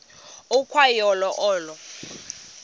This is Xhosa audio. ukwa yo olo